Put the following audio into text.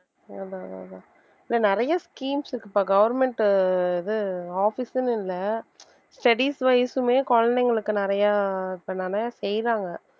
அதான் அதான் இன்னும் நிறைய schemes இருக்குப்பா government இது office ன்னு இல்லை studies wise மே குழந்தைங்களுக்கு நிறைய இப்ப நெறைய செய்யறாங்க